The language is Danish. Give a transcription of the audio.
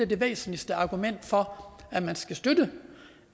det væsentligste argument for at man skal støtte